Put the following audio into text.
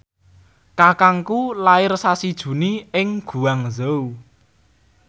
kakangku lair sasi Juni ing Guangzhou